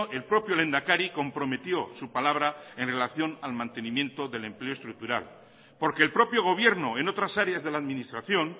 el propio lehendakari comprometió su palabra en relación al mantenimiento del empleo estructural porque el propio gobierno en otras áreas de la administración